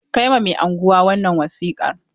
Kai ma mai unguwa wannan wasiƙar!